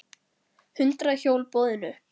Hundrað hjól boðin upp